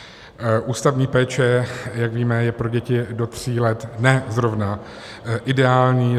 Ústavní péče, jak víme, je pro děti do tří let ne zrovna ideální.